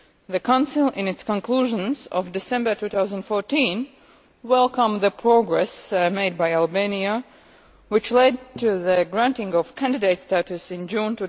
The Council, in its conclusions of December 2014, welcomed the progress made by Albania, which led to the granting of candidate status in June